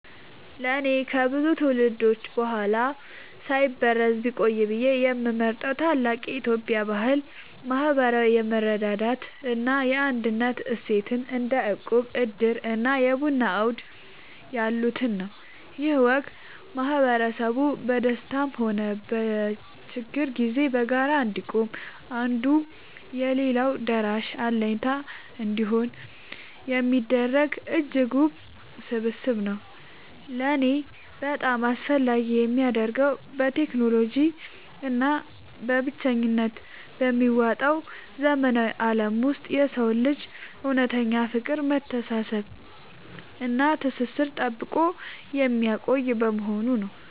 ለእኔ ከብዙ ትውልዶች በኋላ ሳይበረዝ ቢቆይ ብዬ የምመርጠው ታላቅ የኢትዮጵያ ባህል **ማህበራዊ የመረዳዳት እና የአንድነት እሴትን** (እንደ እቁብ፣ ዕድር እና የቡና አውድ ያሉትን) ነው። ይህ ወግ ማህበረሰቡ በደስታም ሆነ በችግር ጊዜ በጋራ እንዲቆም፣ አንዱ ለሌላው ደራሽና አለኝታ እንዲሆን የሚያደርግ እጅግ ውብ ስብስብ ነው። ለእኔ በጣም አስፈላጊ የሚያደርገው፣ በቴክኖሎጂ እና በብቸኝነት በሚዋጠው ዘመናዊ ዓለም ውስጥ የሰውን ልጅ እውነተኛ ፍቅር፣ መተሳሰብ እና ትስስር ጠብቆ የሚያቆይ በመሆኑ ነው።